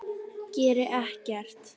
Geri ekkert.